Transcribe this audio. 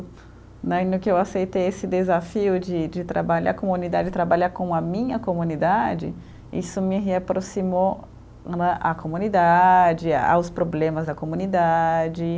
Né, e no que eu aceitei esse desafio de de trabalhar comunidade, trabalhar com a minha comunidade, isso me reaproximou não é à comunidade, aos problemas da comunidade.